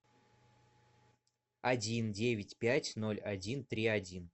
один девять пять ноль один три один